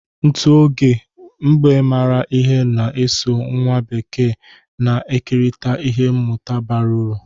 N'otu oge, mbe maara ihe na-eso nwa bekee na-ekerịta ihe mmụta bara uru.